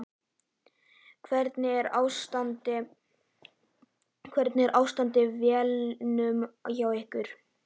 Hvernig er ástandið á vellinum hjá ykkur?